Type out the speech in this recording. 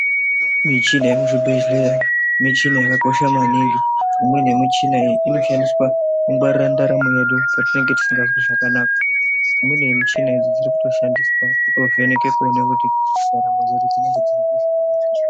Michina yekuzvibhedhlera michina yakakosha maningi. Imweni yemichina iyi inoshandiswa kungwarira ndaramo yedu patinenge tisingazwi zvakanaka. Imweni yemichina idzi dzikutoshandiswa kutovheneke kuone kuti ndaramo dzedu dzinenge dzirikuita zvakanaka ere.